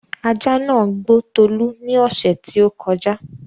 ajá nàá gbó Tolú ní ọ̀ṣẹ̀ tí ó kọjá